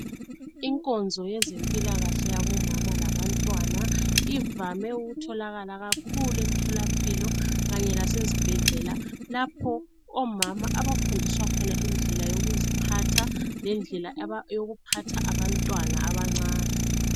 Inkonzo yezempilakahle yabomama labantwana ivame ukutholakala kakhulu emtholampilo kanye lasezibhedlela lapho omama abafundisa khona indlela yokuziphatha lendlela yokuphatha abantwana abancani.